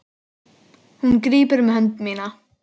Hún grípur um hönd mína.